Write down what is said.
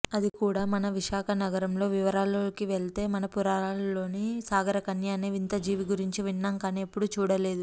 అది కూడా మన విశాఖనగరంలో వివరాల్లోకివెళ్తే మన పురాణాలలోని సాగరకన్య అనే వింత జీవి గురించి విన్నాంకానీ ఎప్పుడూ చూడలేదు